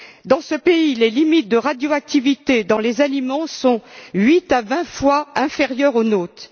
Dans ce pays, les limites de radioactivité dans les aliments sont 8 à 20 fois inférieures aux nôtres.